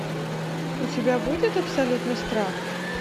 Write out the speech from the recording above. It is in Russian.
у тебя будет абсолютный страх